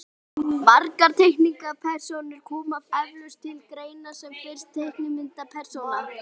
margar teiknimyndapersónur koma eflaust til greina sem fyrsta teiknimyndapersónan